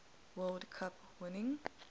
world cup winning